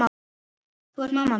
Þú ert mamma mín.